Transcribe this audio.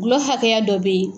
Gulɔ hakɛya dɔ bɛ ye.